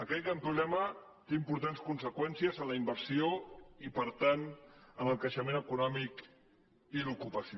aquest gran problema té importants con·seqüències en la inversió i per tant en el creixement econòmic i l’ocupació